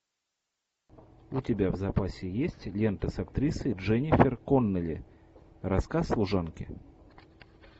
у тебя в запасе есть лента с актрисой дженнифер коннелли рассказ служанки